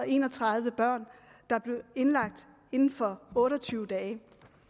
en og tredive børn der blev indlagt inden for otte og tyve dage